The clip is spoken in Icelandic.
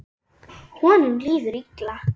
Honum líður illa.